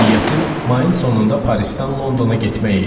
Niyyətim mayın sonunda Parisdən Londona getmək idi.